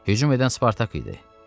Hücum edən Spartak idi.